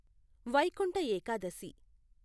Vaikuntha Ekadashi